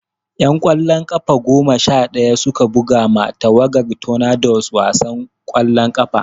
'Yan ƙwallon ƙafa goma sha ɗaya su ka buga ma tawagar Tornadoes wasan ƙwallon ƙafa.